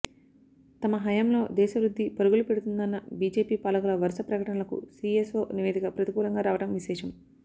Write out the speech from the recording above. తమ హయంలో దేశ వృద్ధి పరుగులు పెడుతుందన్న బిజెపి పాలకుల వరుస ప్రకటనలకు సిఎస్ఒ నివేదిక ప్రతికూలంగా రావడం విశేషం